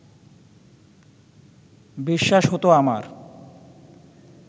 বিশ্বাস হত আমার